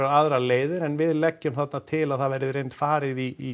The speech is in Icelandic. aðrar leiðir en við leggjum það þarna til að það verði í reynd farið í